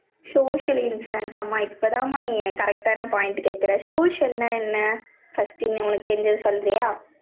social insurance அம்மா, இப்பதாம்மா, நீ, correct ஆன point கேட்கிற. social ன்னா என்ன first நீ உனக்கு தெரிஞ்சதை சொல்றியா?